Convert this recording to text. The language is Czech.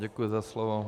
Děkuji za slovo.